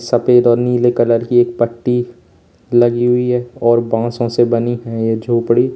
सफेद और नीले कलर की एक पट्टी लगी हुई है और बांसों से बनी है ये झोपड़ी।